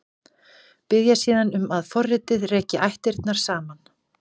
Biðja síðan um að forritið reki ættirnar saman.